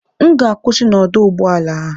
M ga-akwụsị na ọdụ ụgbọ ala a